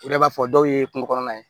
I yɛrɛ b'a fɔ dɔw ye kungo kɔnɔna ye